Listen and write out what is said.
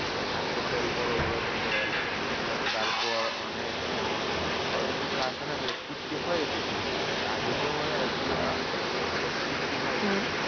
হ্যাঁ হোটেল বড় বড় হোটেল, তারপর অনেক যেমন অনেককিছু আছে না ওই কৃত্তিম হয়ে গেছে ঘুরে বিষয়টা। আগে যে মজাটা ছিল না? ও কৃত্তিম হয়ে গেছে।